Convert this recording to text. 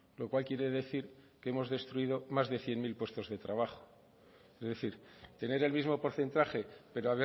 lo cual quiere decir que hemos destruido más de cien mil puestos de trabajo es decir tener el mismo porcentaje pero